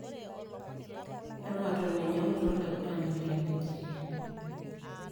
Everton enyangutua olaigurani le Nigeria.